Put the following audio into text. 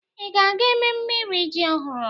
Ị ga-aga ememme iri ji ọhụrụ?